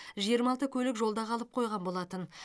жиырма алты көлік жолда қалып қойған болатын